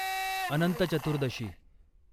Anant Chaturdashi